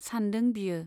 सानदों बियो।